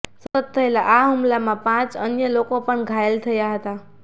સતત થયેલ આ હુમલામાં પાંચ અન્ય લોકો પણ ઘાયલ થયા હતા